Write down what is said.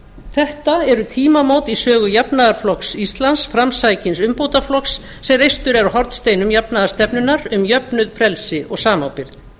þetta eru tímamót í sögu jafnaðarflokks íslands framsækins umbótaflokks sem reistur er á hornsteinum jafnaðarstefnunnar um jöfnuð frelsi og samábyrgð